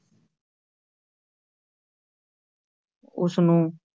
ਉਸਨੂੰ,